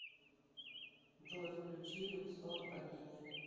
джой включи люксор богиня